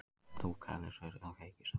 Þú kærleiksandi kveik í sál